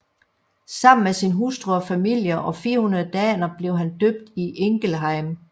Sammen med sin hustru og familie og 400 daner blev han døbt i Ingelheim